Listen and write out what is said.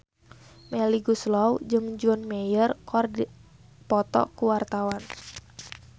Melly Goeslaw jeung John Mayer keur dipoto ku wartawan